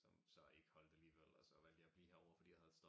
Som så ikke holde alligevel og så valgte jeg at blive herovre fordi jeg havde